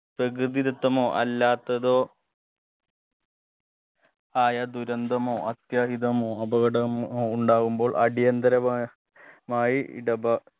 പ്രകൃതി ദത്തമോ അല്ലാത്തതോ ആയ ദുരന്തമോ അത്യാഹിതമോ അപകടമോ ഉണ്ടാകുമ്പോൾ അടിയന്തരമാ മായി ഇടപാ